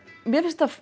mér finnst